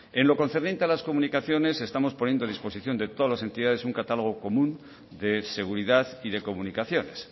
en lo concerniente a las comunicaciones estamos poniendo a disposición de todas las entidades un catálogo común de seguridad y de comunicaciones